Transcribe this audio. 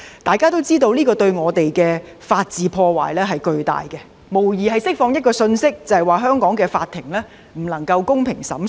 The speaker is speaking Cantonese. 大家也知這對我們的法治有巨大破壞，無疑是釋放一個信息，即香港法庭不能公平地作出審訊。